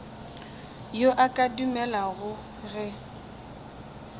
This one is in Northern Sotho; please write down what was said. yo a ka dumelago ge